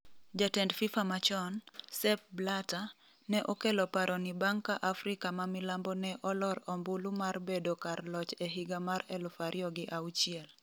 Jatend Fifa machon, Sepp Blatter, ne okelo paro ni bang' ka Afrika ma Milambo ne olor ombulu mar bedo kar loch e higa mar 2006.